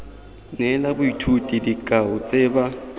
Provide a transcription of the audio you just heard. neela boithuti dikao tse ba